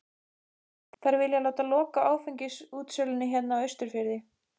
Þær vilja láta loka áfengisútsölunni hérna á Austurfirði!